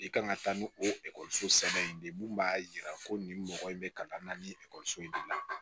I kan ka taa ni okɔliso sɛbɛn in de ye mun b'a yira ko nin mɔgɔ in bɛ ka na ni ekɔliso in de la